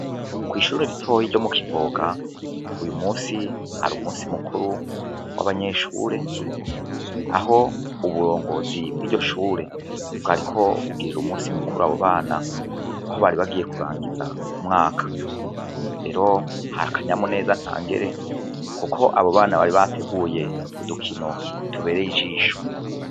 Kwishure ritoya ryo mu Kivoga uyu munsi hari umunsi mukuru wabanyeshure aho uburongozi bwiryo shure bwariko bugirira umunsi mukuru abo bana aho bari bagiye kurangiza umwaka, rero hari akanyamuneza ntangere kuko abo bana bari bateguye udukino tubereye ijisho.